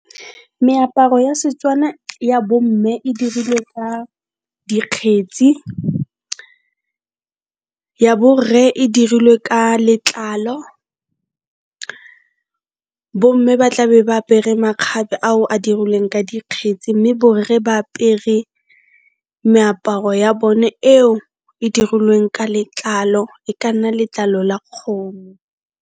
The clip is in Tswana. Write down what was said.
Meaparo ya Setswana ya bo mme e dirilwe ka dikgetsi, ya borre e dirilwe ka letlalo. Bo mme ba tlabe ba apere makgabe ao a dirilweng ka dikgetsi mme borre ba apere meaparo ya bone eo e dirilweng ka letlalo e ka nna letlalo la kgomo.